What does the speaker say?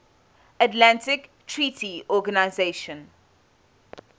atlantic treaty organisation